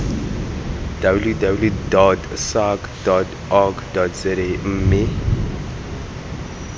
www sahrc org za mme